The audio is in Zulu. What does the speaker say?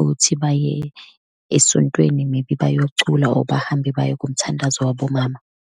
ukuthi baye esontweni, maybe bayocula or bahambe baye kumthandazo wabomama.